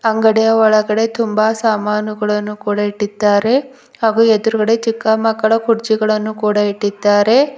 ಅಂಗಡಿಯ ಒಳಗಡೆ ತುಂಬ ಸಾಮಾನುಗಳನ್ನು ಕೂಡ ಇಟ್ಟಿದ್ದಾರೆ ಹಾಗು ಎದುರುಗಡೆ ಚಿಕ್ಕ ಮಕ್ಕಳ ಕುರ್ಚಿಗಳನ್ನು ಕೂಡ ಇಟ್ಟಿದ್ದಾರೆ.